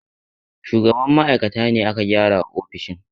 Shugaban ma'aikata ne aka gyara wa ofishin.